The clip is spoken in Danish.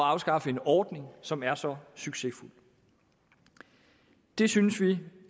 at afskaffe en ordning som er så succesfuld vi synes det